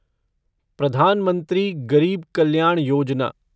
प्रधान मंत्री गरीब कल्याण योजना